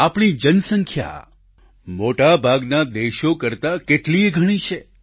આપણી જનસંખ્યા મોટાભાગના દેશો કરતાં કેટલીયે ગણી વધારે છે